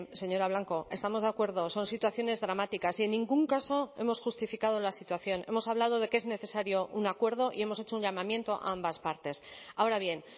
señora blanco estamos de acuerdo son situaciones dramáticas y en ningún caso hemos justificado la situación hemos hablado de que es necesario un acuerdo y hemos hecho un llamamiento a ambas partes ahora bien